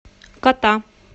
кота